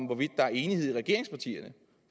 hvorvidt der er enighed i regeringspartierne